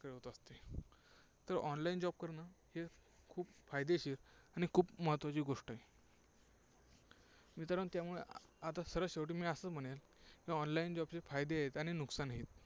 तर Online job करणं हे खूप फायदेशीर आणि खूप महत्त्वाची गोष्ट आहे. मित्रांनो त्यामुळे आता सरळ शेवटी मी असं म्हणेल online job चे फायदे आहेत आणि नुकसानही